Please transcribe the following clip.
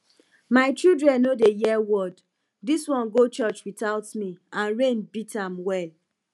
my children no dey hear word dis one go church without me and rain beat am well